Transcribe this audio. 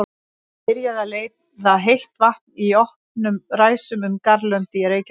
Byrjað að leiða heitt vatn í opnum ræsum um garðlönd í Reykjahverfi.